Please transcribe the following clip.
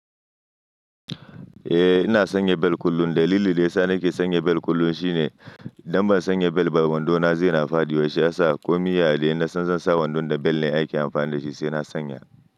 Eh ina sanya bel kullum. Dalilin da ya sa nake sanya bel kullum shine idan ban sanya bel ba wando na zai na faɗiwa shiyasa, ko mi yadai in nasan zan sa wandon da bel ne ake amfani da shi sai na sanya.